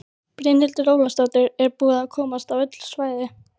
Brynhildur Ólafsdóttir: Er búið að komast á öll svæði?